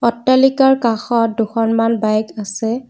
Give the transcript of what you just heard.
অট্টালিকাৰ কাষত দুখনমান বাইক আছে।